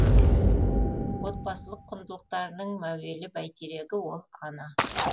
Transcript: отбасылық құндылықтарының мәуелі бәйтерегі ол ана